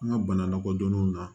An ka bana lakodɔnnenw na